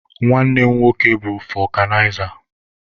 Nwanne mụ nwoke bụ fọkụnaiza.